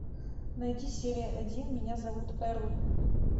найди серия один меня зовут эрл